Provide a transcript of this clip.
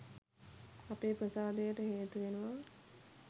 අපේ ප්‍රසාදයට හේතු වෙනවා.